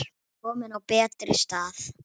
Komin á betri stað.